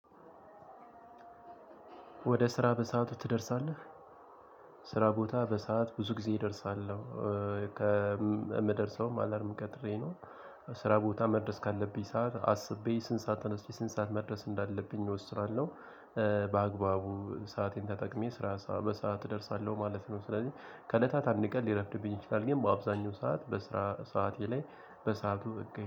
ወደ ስራ በሰአቱ ትደርሳለህ? ስራ ቦታ በሰአት ብዙ ጊዜ እደርሳለሁ። ከምደርሰውም አላርም ቀጥሬ ነው። ስራ ቦታ መድረስ ካለብኝ ሰዓት አስቤ ስንት ሰዓት ተነስቼ ስንት ሰዓት መድረስ እንዳለብኝ እወስናለሁ። በአግባቡ ሰአቴን ተጠቅሜ ስራ በሰአት እደርሳለሁ ማለት ነው። ስለዚህ ከእለታት አንድ ቀን ሊረፍድብኝ ይችላል ግን በአብዛኛው ሰዓት በስራ ሰዓቴ ላይ በሰአቱ እገኘኛለሁ።